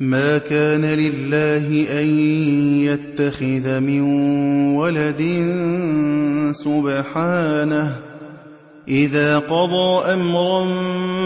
مَا كَانَ لِلَّهِ أَن يَتَّخِذَ مِن وَلَدٍ ۖ سُبْحَانَهُ ۚ إِذَا قَضَىٰ أَمْرًا